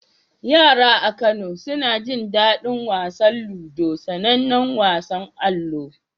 Yara a Kano suna jin daɗin wasan ludo, sanannen wasan allo.